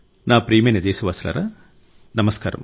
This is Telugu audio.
నా ప్రియమైన దేశవాసులారా నమస్కారం